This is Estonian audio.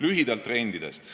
Lühidalt trendidest.